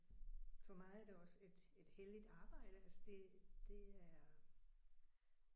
For mig er det også et et helligt arbejde altså det det er